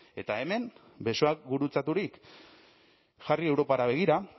eta hemen besoak gurutzaturik jarri europara begira